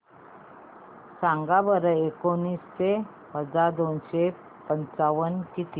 सांगा बरं एकोणीसशे वजा दोनशे पंचावन्न किती